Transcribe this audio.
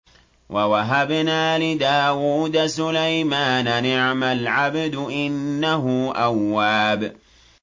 وَوَهَبْنَا لِدَاوُودَ سُلَيْمَانَ ۚ نِعْمَ الْعَبْدُ ۖ إِنَّهُ أَوَّابٌ